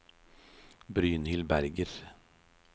Brynhild Berger